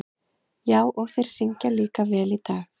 Já, og þeir syngja líka vel í dag.